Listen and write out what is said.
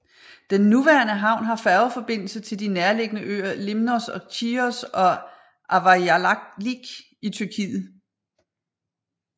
Den nuværende havn har færgeforbindelse til de nærliggende øer Limnos og Chios og til Avyalik i Tyrkiet